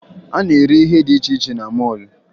A na-ere ihe dị iche iche na mọọlụ